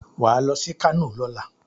Wà ló sí kano lọ́la.